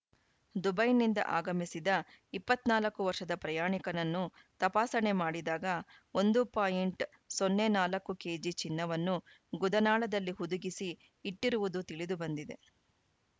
ದುಬೈನಿಂದ ಆಗಮಿಸಿದ ಇಪ್ಪತ್ತ್ ನಾಲ್ಕು ವರ್ಷದ ಪ್ರಯಾಣಿಕನನ್ನು ತಪಾಸಣೆ ಮಾಡಿದಾಗ ಒಂದು ಪಾಯಿಂಟ್ ಸೊನ್ನೆ ನಾಲ್ಕು ಕೆಜಿ ಚಿನ್ನವನ್ನು ಗುದನಾಳದಲ್ಲಿ ಹುದುಗಿಸಿ ಇಟ್ಟಿರುವುದು ತಿಳಿದುಬಂದಿದೆ